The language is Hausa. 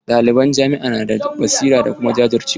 Ɗaliban jami'a na da basira da kuma jajircewa.